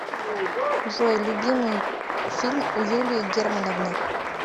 джой любимый фильм у юлии германовны